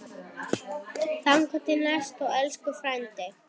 Þangað til næst, elsku frændi.